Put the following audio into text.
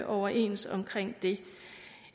overens om det